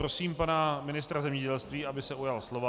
Prosím pana ministra zemědělství, aby se ujal slova.